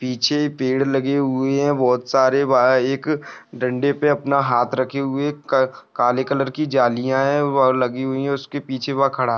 पीछे पेड़ लगे हुए है बहुत सारे वहाँ एक डंडे पे अपना हात रखे हुए क का काले कलर की झालिया है वह लगी हुई है उसके पीछे वो खड़ा है।